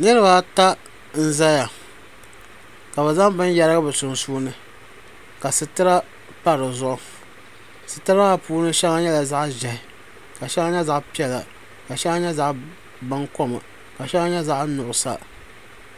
Niriba ata n zaya ka bɛ zaŋ bini yerigi bɛ sunsuuni ka sitira pa dizuɣu ka sheŋa nyɛ zaɣa piɛla ka sheŋa nyɛ zaɣa bankom sheŋa nyɛ zaɣa nuɣuso